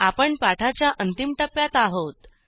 आपण पाठाच्या अंतिम टप्प्यात आहोत